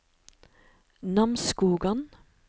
Namsskogan